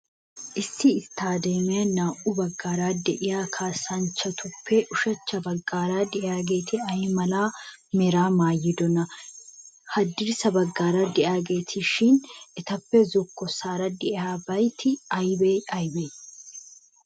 Issi isttadeemiyan naa''u baggaara de'iyaa kaassanchchtuppe, ushachcha baggaara de'iyaageeti ay mala meraa maayidoonaa? Haddirssa baggaara de'iyaageetishin? Etappe zokkossaara de'iyabatii aybee aybee?